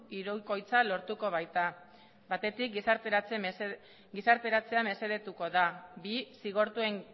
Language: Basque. hirukoitza lortuko baita batetik gizarteratzea mesedetuko da zigortuen